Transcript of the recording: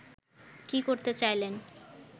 কী করতে চাইলেন